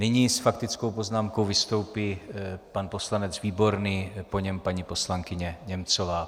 Nyní s faktickou poznámkou vystoupí pan poslanec Výborný, po něm paní poslankyně Němcová.